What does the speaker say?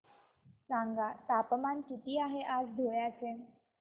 सांगा तापमान किती आहे आज धुळ्याचे